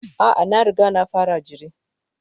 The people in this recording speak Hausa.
A'a, na riga na fara jiri.